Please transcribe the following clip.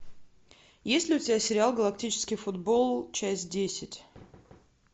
есть ли у тебя сериал галактический футбол часть десять